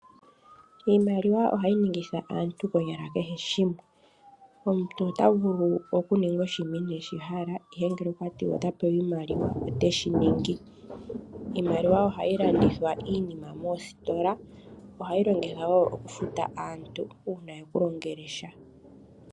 Iimaliwa ohayi ningitha aantu konyala kehe shimwe. Omuntu ota vulu okuninga oshinima inee shi hala ihe ngele okwati wa ota pewa oshimaliwa oteshi ningi. Ohayi longithwa okulanda iinima moostola osho wo okufuta aantu uuna ekulongela sha.